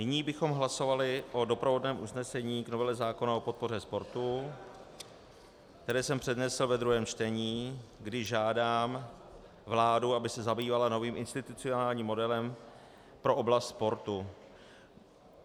Nyní bychom hlasovali o doprovodném usnesení k novele zákona o podpoře sportu, které jsem přednesl ve druhém čtení, kdy žádám vládu, aby se zabývala novým institucionálním modelem pro oblast sportu.